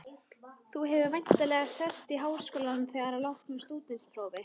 Þú hefur væntanlega sest í Háskólann þegar að loknu stúdentsprófi?